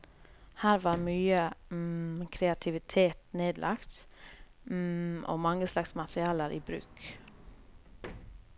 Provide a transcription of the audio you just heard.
Her var mye kreativitet nedlagt og mange slags materialer i bruk.